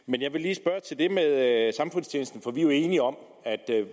men jeg vil lige spørge til det med samfundstjenesten for vi er jo enige om at